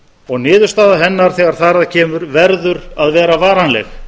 og niðurstaða hennar þegar þar að kemur verður að vera varanleg